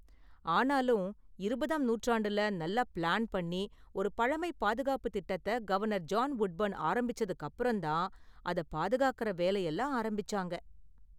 ஆனாலும், இருபதாம் நூற்றாண்டுல நல்லா பிளான் பண்ணி ஒரு பழமை பாதுகாப்பு திட்டத்த கவர்னர் ஜான் வுட்பர்ன் ஆரம்பிச்சதுக்கு அப்பறம் தான் அதை பாதுகாக்கற வேலையெல்லாம் ஆரம்பிச்சாங்க.